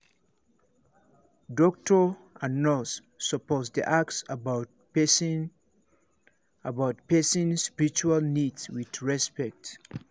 doctor and nurse suppose dey ask about person about person spiritual needs with respect